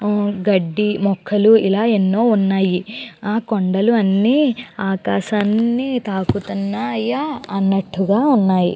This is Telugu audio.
గడ్డి మొక్కలు ఇలా ఎన్నో ఉన్నాయి ఆ కొండలు అన్నీ ఆకాశాన్ని తాకుతున్నాయ అన్నట్టుగా ఉన్నాయి.